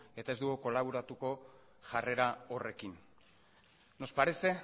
eta ez dugu kolaboratuko jarrera horrekin nos parece